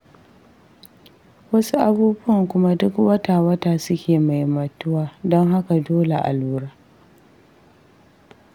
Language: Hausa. Wasu abubuwan kuma duk wata-wata suke maimaituwa don haka dole a lura.